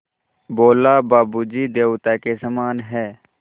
बोला बाबू जी देवता के समान हैं